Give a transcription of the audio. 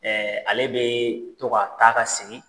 ale bɛ to ka taa ka segin.